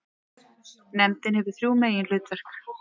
Nefndin hefur þrjú meginhlutverk.